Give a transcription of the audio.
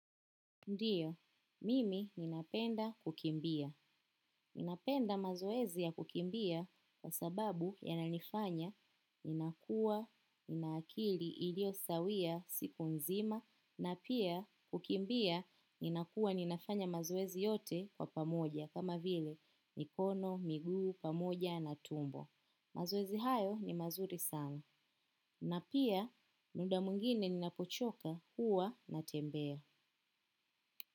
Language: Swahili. Ndiyo, mimi ninapenda kukimbia. Ninapenda mazoezi ya kukimbia kwa sababu ya nanifanya, ninakua, ninakili, ilio sawia, siku nzima, na pia kukimbia, ninakua, ninafanya mazoezi yote kwa pamoja, kama vile, mikono, miguu, pamoja, na tumbo. Mazoezi hayo ni mazuri sana. Na pia, muda mwingine ninapochoka huwa na tembea.